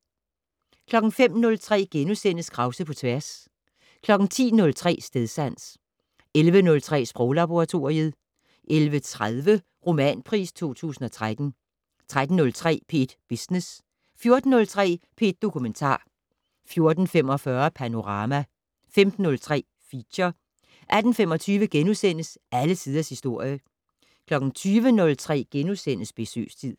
05:03: Krause på tværs * 10:03: Stedsans 11:03: Sproglaboratoriet 11:30: Romanpris 2013 13:03: P1 Business 14:03: P1 Dokumentar 14:45: Panorama 15:03: Feature 18:25: Alle Tiders Historie * 20:03: Besøgstid *